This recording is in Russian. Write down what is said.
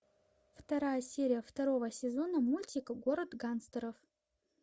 вторая серия второго сезона мультика город гангстеров